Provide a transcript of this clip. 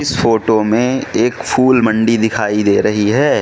इस फोटो में एक फूल मंडी दिखाई दे रही है।